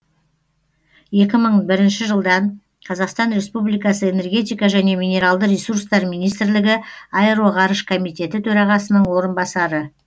екі мың бірінші жылдан қазақстан республикасы энергетика және минералды ресурстар министрлігі аэроғарыш комитеті төрағасының орынбасары